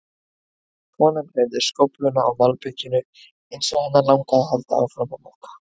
Konan hreyfði skófluna á malbikinu eins og hana langaði að halda áfram að moka.